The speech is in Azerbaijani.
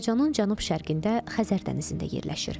Azərbaycanın cənub-şərqində Xəzər dənizində yerləşir.